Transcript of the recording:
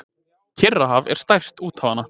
Kyrrahaf er stærst úthafanna.